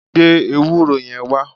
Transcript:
Gbe ewúro yẹn wá!